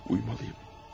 Uymalıyam.